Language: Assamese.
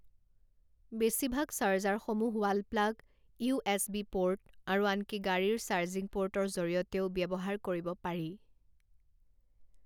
বেছিভাগ চাৰ্জাৰসমূহ wall plug, U S B port, আৰু আনকি গাড়ীৰ চাৰ্জিং পোৰ্টৰ জৰিয়তেও ব্যৱহাৰ কৰিব পাৰি।